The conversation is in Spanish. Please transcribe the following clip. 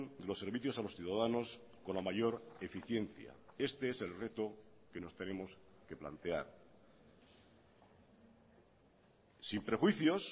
de los servicios a los ciudadanos con la mayor eficiencia este es el reto que nos tenemos que plantear sin prejuicios